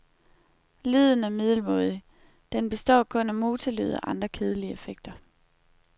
Lyden er middelmådig, den består kun af motorlyde og andre kedelige effekter.